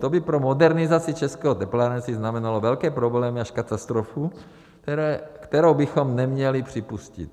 To by pro modernizaci českého teplárenství znamenalo velké problémy až katastrofu, kterou bychom neměli připustit.